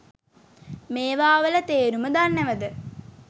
මේවා වල තේරුම දන්නවද?